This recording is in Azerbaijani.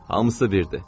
Hamısı birdir.